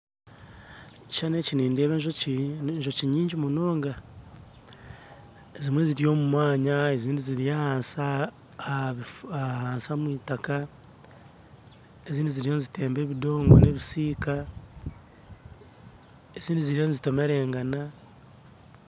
Omukishushani eki nindeeba enjoki enjoki nyingi munonga ezimwe ziry'omumwanya ezindi ziry'ahansi omw'itaka ezindi ziriyo nizitemba ebidongo ebisiika ezindi ziriyo nizitomerangana.